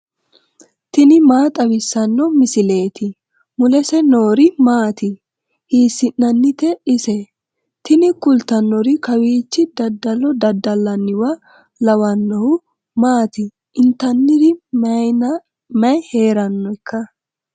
tini maa xawissanno misileeti ? mulese noori maati ? hiissinannite ise ? tini kultannori kawiichi dadalo dada'linanniwa lawannohu maati intanniri mayinna mayi heerannoikka ?